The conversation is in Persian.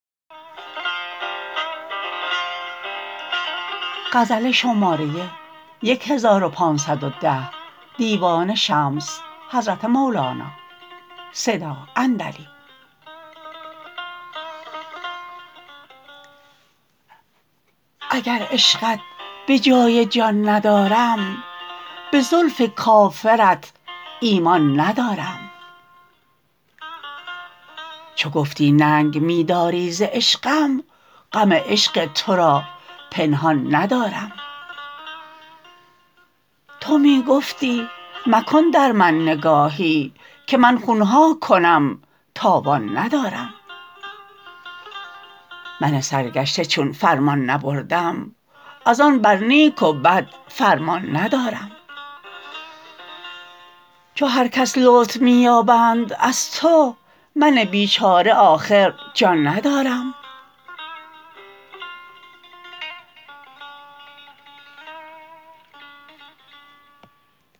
اگر عشقت به جای جان ندارم به زلف کافرت ایمان ندارم چو گفتی ننگ می داری ز عشقم غم عشق تو را پنهان ندارم تو می گفتی مکن در من نگاهی که من خون ها کنم تاوان ندارم من سرگشته چون فرمان نبردم از آن بر نیک و بد فرمان ندارم چو هر کس لطف می یابند از تو من بیچاره آخر جان ندارم